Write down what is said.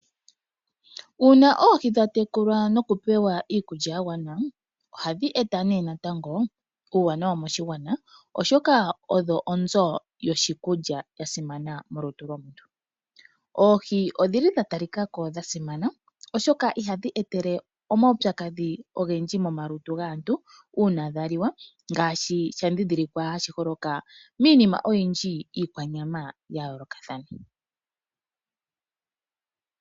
Uuna oohi dha tekulwa nokupewa iikulya ya gwana ohadhi eta nee natango uuwanawa moshigwana, oshoka odho onzo yoshikulya sha simana molutu lwomuntu. Oohi odhi li dha talika ko dha simana, oshoka ihadhi e tele omaupyakadhi ogendji momalutu gaantu uuna dha liwa ngaashi sha dhindhilikwa hashi holoka miinima oyindji iikwanyama ya yoolokathana.